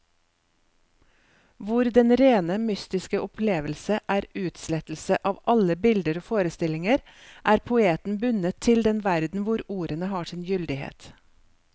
Hvor den rene mystiske opplevelse er utslettelse av alle bilder og forestillinger, er poeten bundet til den verden hvor ordene har sin gyldighet.